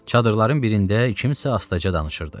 Çadırların birində kimsə astaca danışırdı.